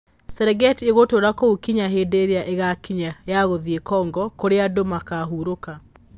Serengeti ĩgũtũũra kũu kinya hĩndĩ ĩrĩa ĩgaakinya ya gũthiĩ Congo, kũrĩa andũ makaahurũka.